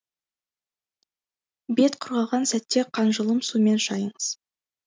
бет құрғаған сәтте қанжылым сумен шайыңыз